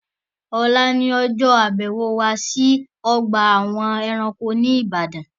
Ọ̀la ni ọjọ́ àbẹ̀wò wa sí ọgbà àwọn ẹranko ní Ibadan